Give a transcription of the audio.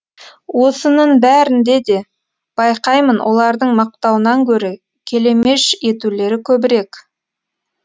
осынын бәрінде де байқаймын олардың мақтауынан гөрі келемеж етулері көбірек